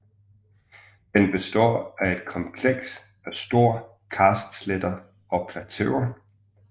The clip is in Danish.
Den består af et kompleks af store karstsletter og plateauer